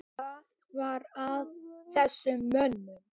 Hvað var að þessum mönnum?